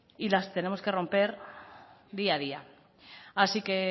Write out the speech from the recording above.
y las tenemos que romper día a día así que